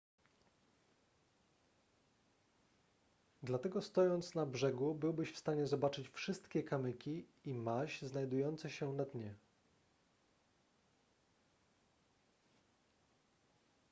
dlatego stojąc na brzegu byłbyś w stanie zobaczyć wszystkie kamyki i maź znajdujące się na dnie